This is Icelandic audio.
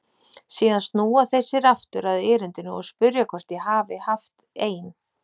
Síðan snúa þeir sér aftur að erindinu og spyrja hvort ég hafi haft ein